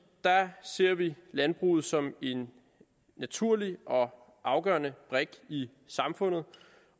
ser vi landbruget som en naturlig og afgørende brik i samfundet